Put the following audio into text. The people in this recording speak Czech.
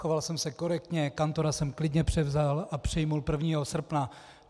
Choval jsem se korektně, kantora jsem klidně převzal a přijal 1. srpna.